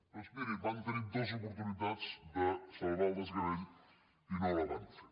doncs mirin van tenir dues oportunitats de salvar el desgavell i no ho van fer